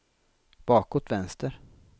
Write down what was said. bakåt vänster